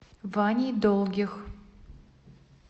ваней долгих